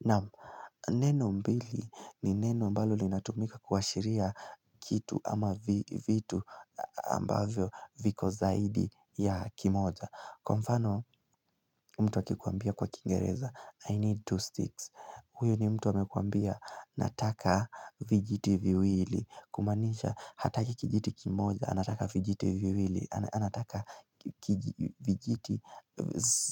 Naam neno mbili ni neno ambalo linatumika kuashiria kitu ama vitu ambavyo viko zaidi ya kimoja Kwa mfano mtu akikuambia kwa kiingereza I need two sticks huyo ni mtu amekuambia nataka vijiti viwili Kumaanisha hataki kijiti kimoja anataka vijiti viwili anataka vijiti